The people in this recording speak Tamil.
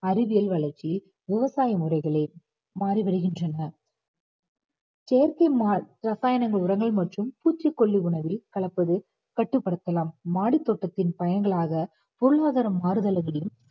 அறிவியல் வளர்ச்சி விவசாய முறைகளை மாறி வருகின்றன செயற்கை மா~ ரசாயனங்கள் உரங்கள் மற்றும் பூச்சிக்கொல்லி உணவில் கலப்பது கட்டுப்படுத்தலாம் மாடித்தோட்டத்தின் பயன்களாக பொருளாதார மாறுதல்களும்